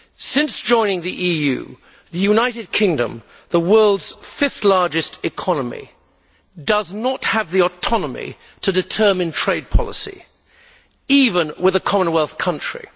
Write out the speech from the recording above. Since joining the EU, the United Kingdom, the world's fifth largest economy, does not have the autonomy to determine trade policy even with a Commonwealth country.